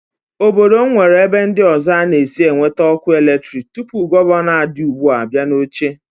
Obodo m nwere ebe ndị ọzọ a na-esi enweta ọkụ eletrik tupu gọvanọ a dị ugbu a abịa n'oche